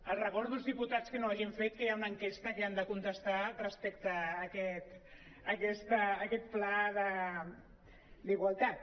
els recordo als diputats que no ho hagin fet que hi ha una enquesta que han de contestar respecte a aquest pla d’igualtat